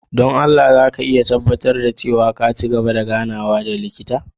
Don Allah za ka iya tabbatar da cewa ka ci gaba da ganawa da likita?